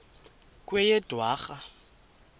kweyedwarha